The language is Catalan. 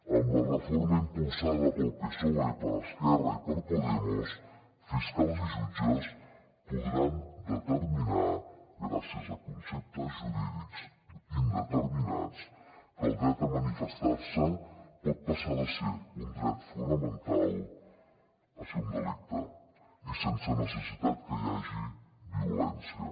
amb la reforma impulsada pel psoe per esquerra i per podemos fiscals i jutges podran determinar gràcies a conceptes jurídics indeterminats que el dret a manifestar se pot passar de ser un dret fonamental a ser un delicte i sense necessitat que hi hagi violència